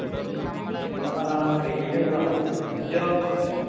എന്താടാ വെളിയിൽ ഇണ്ടഡാ ഇജ്ജോ.